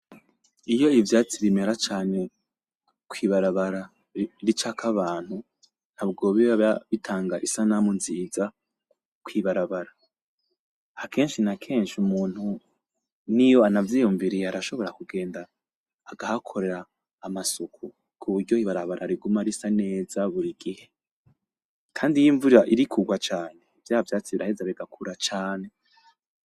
Iyo ivyatsi bimera cane kw'ibarabara ricako abantu ntabwo biba bitanga isanamu nziza kw'ibarabara, akenshi n'akenshi umuntu niyo anavyiyumviriye arashobora kugenda agahakorera amasuku kuburyo ibarabara riguma risa neza buri gihe, kandi iyo imvura iri kugwa cane vya vyatsi biraheza bigakura cane.